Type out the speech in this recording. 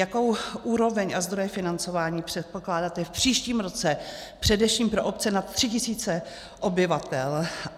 Jakou úroveň a zdroje financování předpokládáte v příštím roce především pro obce nad 3 tisíci obyvatel?